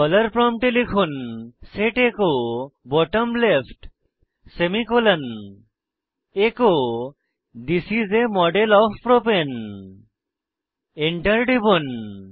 dollar প্রম্পটে লিখুন set echo bottom left semicolon echo this is a model of propane Enter টিপুন